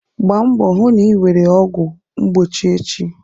Gbaa mbọ hụ na ị were ọgwụ mgbochi echi!